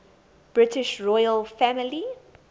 british royal family